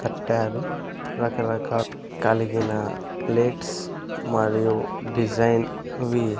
కట్టారు రకరకాల కలిగిన ప్లేట్స్ మరియు డిజైన్ వి .